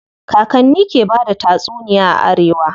Kakanni ke bada tatsuniya a arewa.